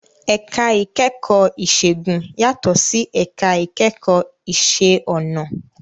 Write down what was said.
Ẹ̀ka ìkẹ́kọ̀ọ́ ìṣègùn yàtọ̀ sí ẹ̀ka ìkẹ́kọ̀ọ́ ìṣe ọnà